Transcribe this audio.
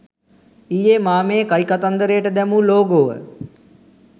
ඊයේ මා මේ කයිකතන්දරයට දැමූ ලෝගෝව